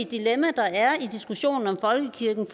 dilemma der er i diskussionen om folkekirken